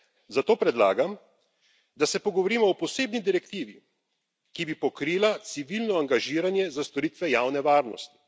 Zato predlagam, da se pogovorimo o posebni direktivi, ki bi pokrila civilno angažiranje za storitve javne varnosti.